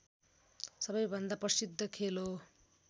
सबैभन्दा प्रसिद्ध खेल हो